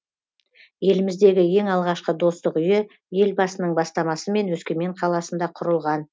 еліміздегі ең алғашқы достық үйі елбасының бастамасымен өскемен қаласында құрылған